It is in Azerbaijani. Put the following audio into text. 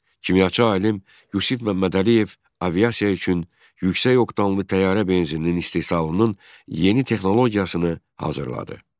Kimyaçı alim Yusif Məmmədəliyev aviasiya üçün yüksək oktanlı təyyarə benzininin istehsalının yeni texnologiyasını hazırladı.